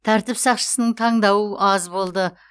тәртіп сақшысының таңдауы аз болды